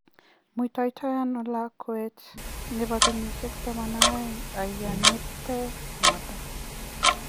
Muitaitaiano lakwet nebo kenyishek 12 aiyo ne te noto